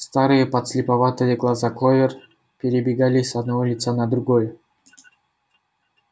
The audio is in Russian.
старые подслеповатые глаза кловер перебегали с одного лица на другое